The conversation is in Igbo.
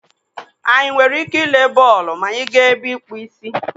Anyị nwere ike ịle bọọlụ ma anyị gaa ebe ịkpụ ísí?